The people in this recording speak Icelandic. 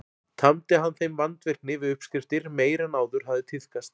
Tamdi hann þeim vandvirkni við uppskriftir meiri en áður hafði tíðkast.